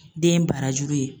Den barajuru ye.